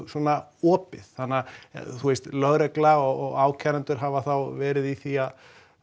svona opið þannig að lögregla og ákærendur hafa þá verið í því að